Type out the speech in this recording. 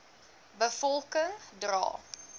be volking dra